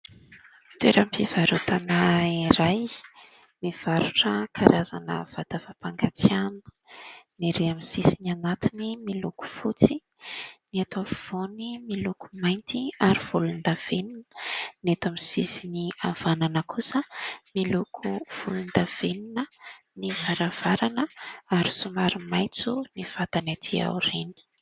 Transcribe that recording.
Toeram-pivarotana iray mivarotra karazana vata fampangatsiahina, ny erý amin'ny sisiny anatiny miloko fotsy, ny eto afovoany miloko mainty ary volon-davenona, ny eto amin'ny sisiny avanana kosa miloko volon-davenona ny varavarana, ary somary maitso ny vatany aty aorina.